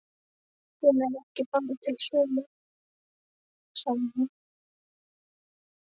Hún er bara ekki til sölu, sagði hún.